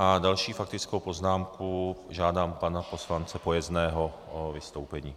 A další faktická poznámka, žádám pana poslance Pojezdného o vystoupení.